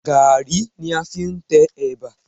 Gaàrí ni a fi ń tẹ ẹ̀bà